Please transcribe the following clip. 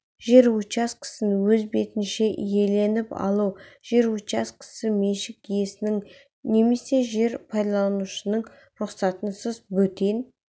жер учаскесін өз бетінше иеленіп алу жер учаскесі меншік иесінің немесе жер пайдаланушының рұқсатынсыз бөтен